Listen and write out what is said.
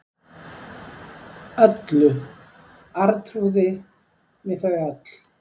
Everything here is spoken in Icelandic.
Öllu, Arnþrúði, við þau öll.